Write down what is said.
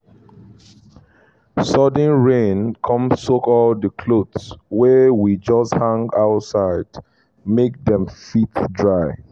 sudden rain come soak all the clothes wey we just hang outside make dem fit dry